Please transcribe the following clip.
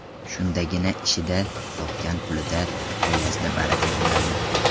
Shundagina ishida, topgan pulida, oilasida baraka bo‘ladi.